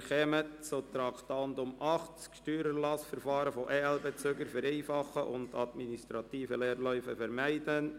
Wir kommen zu Traktandum 80, «Steuererlassverfahren von EL-Bezügern vereinfachen und administrative Leerläufe vermeiden».